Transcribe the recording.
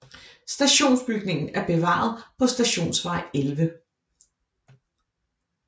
Stationsbygningen er bevaret på Stationsvej 11